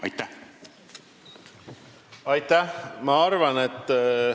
Aitäh!